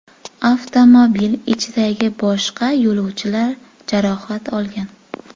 Avtomobil ichidagi boshqa yo‘lovchilar jarohat olgan.